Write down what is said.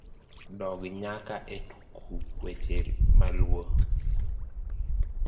dog nyaka e tuku weche maluo